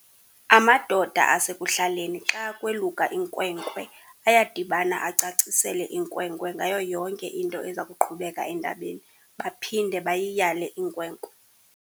Amadoda asekuhlaleni xa kweluka inkwenkwe ayadibana acacisele inkwenkwe ngayo yonke into eza kuqhubeka entabeni baphinde bayiyale inkwenkwe.